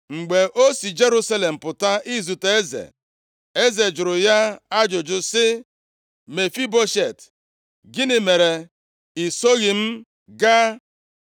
Mgbe o si Jerusalem pụta izute eze, eze jụrụ ya ajụjụ sị, “Mefiboshet, gịnị mere i soghị m gaa?”